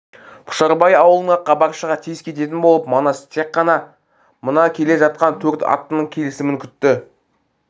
пұшарбай аулына хабаршыға тез кететін болып манас тек қана мына келе жатқан төрт аттының келісін күтті